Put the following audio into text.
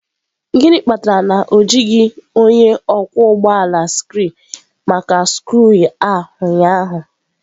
Gịnị kpatara na o jighị onye ọkwọ ụgbọ ala scree maka skru a ụnyaahụ?